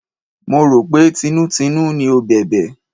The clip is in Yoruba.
Mo rò pé tinútinú ni ó bẹ̀bẹ̀.